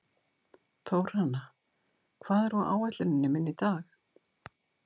Þórhanna, hvað er á áætluninni minni í dag?